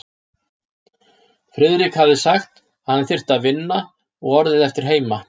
Friðrik hafði sagt, að hann þyrfti að vinna, og orðið eftir heima.